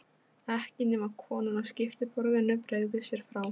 Ekki nema konan á skiptiborðinu bregði sér frá.